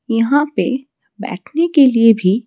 यहां पे बैठने के लिए भी--